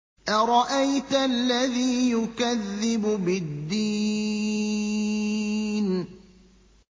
أَرَأَيْتَ الَّذِي يُكَذِّبُ بِالدِّينِ